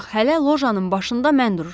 Ancaq hələ lojanın başında mən dururam.